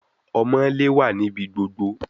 Omoole wa nibi gbogbo